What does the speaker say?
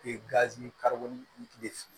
gazi